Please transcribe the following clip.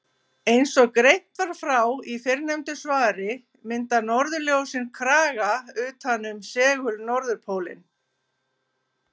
Eins og greint var frá í fyrrnefndu svari mynda norðurljósin kraga utan um segul-norðurpólinn.